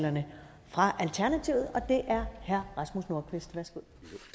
og det er herre rasmus nordqvist værsgo